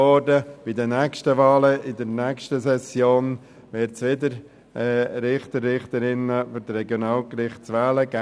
Bei den nächsten Wahlen in der nächsten Session, auch dies wurde bereits gesagt, wird es wieder Richter und Richterinnen für die Regionalgerichte zu wählen geben.